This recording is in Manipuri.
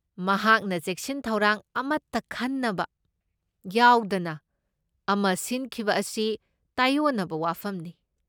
ꯃꯍꯥꯛꯅ ꯆꯦꯛꯁꯤꯟ ꯊꯧꯔꯥꯡ ꯑꯃꯠꯇ ꯈꯟꯅꯕ ꯌꯥꯎꯗꯅ ꯑꯃ ꯁꯤꯟꯈꯤꯕ ꯑꯁꯤ ꯇꯥꯢꯑꯣꯟꯅꯕ ꯋꯥꯐꯝꯅꯤ ꯫